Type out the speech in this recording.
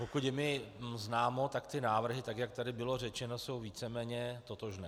Pokud je mi známo, tak ty návrhy, tak jak tady bylo řečeno, jsou víceméně totožné.